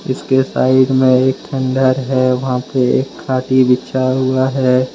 इसके साइड में एक खंडर है वहां पे एक हाथी बिछा हुआ है ।